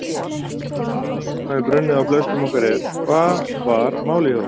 Spurningin sem hefur brunnið á flestum okkar er: Hvað var málið hjá okkur?